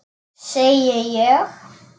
Segi ég.